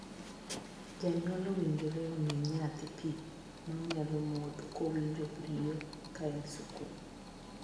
Jonyuol owinjore omii nyathi pii ma onyalo modho kowinjo riyo ka en e skul.